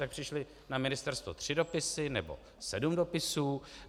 Tak přišly na ministerstvo tři dopisy, nebo sedm dopisů?